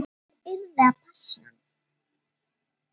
Einhver yrði að passa hann.